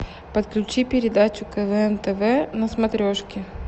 подключи передачу квн тв на смотрешке